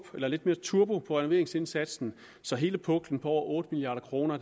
lidt mere turbo på renoveringsindsatsen så hele puklen på over otte milliard kroner